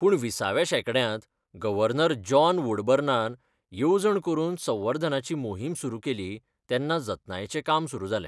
पूण विसाव्या शेंकड्यांत गव्हर्नर जॉन वुडबर्नान येवजण करून संवर्धनाची मोहीम सुरू केली तेन्ना जतनायेचें काम सुरू जालें.